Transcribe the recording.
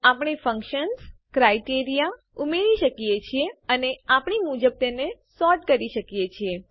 આપણે ફંકશન્સ વિધેયો ક્રાઇટેરિયા માપ દંડ ઉમેરી શકીએ છીએ અને આપણી મરજી મુજબ તેને સોર્ટ કરી શકીએ છીએ